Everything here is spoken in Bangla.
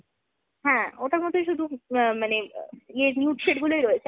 হ্যাঁ ওটার মধ্যে শুধু মানে ইয়ের nude shade গুলোই রয়েছে।